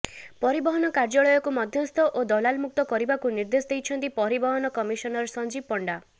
ପରିବହନ କାର୍ଯ୍ୟାଳୟକୁ ମଧ୍ୟସ୍ଥ ଓ ଦଲାଲମୁକ୍ତ କରିବାକୁ ନିର୍ଦେଶ ଦେଇଛନ୍ତି ପରିବହନ କମିଶନର ସଂଜୀବ ପଣ୍ଡା